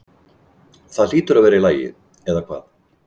Það hlýtur að vera í lagi, eða hvað?